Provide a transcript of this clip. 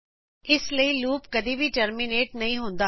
ਅੰਤ ਲੂਪ ਕਦੀ ਵੀ ਟਰਮੀਨੇਟ ਨਹੀਂ ਹੁੰਦਾ